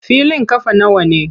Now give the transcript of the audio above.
Filin ƙafa nawa ne?